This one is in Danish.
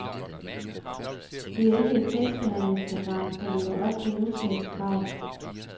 Det er ikke et tekstbehandlingsprogram, der lever op til nutidens krav.